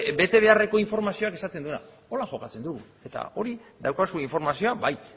betebeharreko informazioak esaten duena honela jokatzen dugu eta hor daukazu informazioa bai